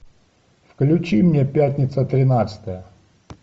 включи мне пятница тринадцатое